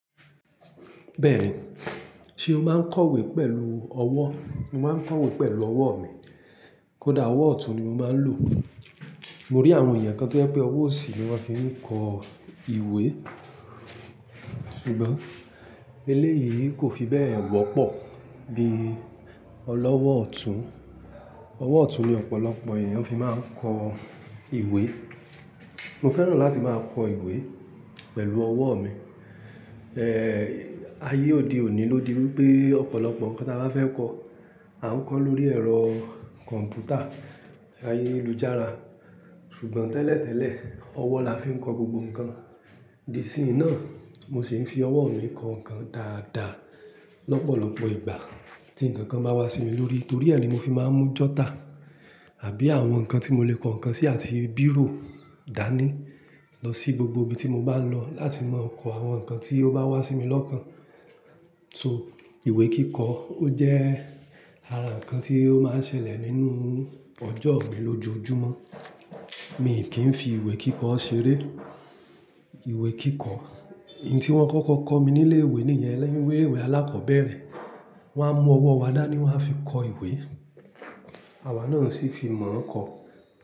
Bẹ́ẹ̀ni, ṣe o máa ń kọ ìwé pẹ̀lú ọwọ́? Mo máa ń kọ ìwé pẹ̀lú ọwọ́ mi. Kódà ọwọ́ ọ̀tún ni mo máa ń lò. Mo rí àwọn èèyàn kan tó yẹ pé ọwọ́ òsì ni wọ́n fi ń kọ ìwé. Ṣùgbọ́n eléyìí kò fi bẹ́ẹ̀ wọ́pọ̀ bí ọlọ́wọ́ ọ̀tún. Ọwọ́ ọ̀tún ni ọ̀pọ̀lọpọ̀ èèyàn fi máa ń kọ ìwé. Mo fẹ́ràn láti máa kọ ìwé pẹ̀lú ọwọ́ mi. Ayé òde òní ló di wípé ọ̀pọ̀lọpọ̀ nǹkan tí a bá fẹ́ kọ, a ń kọ lórí ẹ̀rọ kọ̀m̀pútà, ayélujára. Ṣùgbọ́n tẹ́lẹ̀tẹ́lẹ̀, ọwọ́ la fi ń kọ gbogbo nǹkan. Di isin ná, mo sì ń fi ọwọ́ mi kọ nǹkan dáadáa lọ́pọ̀lọpọ̀ ìgbà tí nǹkan kan bá wá sí mi lórí, torí ẹ ni mo fi máa ń mú jọ́tà àbí àwọn nǹkan tí mo lè kọ nǹkan sí àti bírò dání lọ sí gbogbo ibi tí mo bá ń lọ láti máa kọ àwọn nǹkan tí ó bá wá sí mi lọ́kàn. Ìwé kíkọ ó jẹ́ ara nǹkan tí ó máa ń ṣẹlẹ̀ nínú ọjọ́ mi lójoojúmọ́. Mì kí ń fi ìwé kíkọ ṣeré. Ìwé kíkọ, ohun tí wọ́n kọ́kọ́ kọ́ mi ní ilé-ìwé nìyẹn lẹ́yìn ilé-ìwé alákọ̀ọ́bẹ̀rẹ̀. Wọ́n á mú ọwọ́ wa dání wọ́n a fi kọ ìwé. Àwa náà sì fi mọ̀ n kọ.